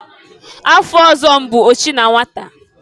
Afa ọzọ m bụ ochi na nwata.